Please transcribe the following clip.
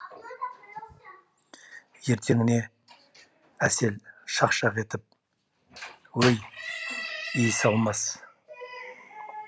ертеңіне әсел шақ шақ етіп өй иіс алмас